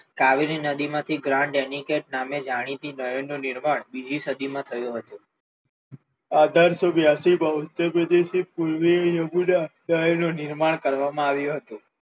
કાવેરી નદીમાંથી ગ્રાન્ડ અનિકકત નામે જાણીતી નદીનું નિર્માણ બીજી સદીમાં થયું હતું અઢારસો બ્યાસી થી બોત્તેર સુધી યમુના નદીનું નિર્માણ કરવામાં આવ્યું હતું.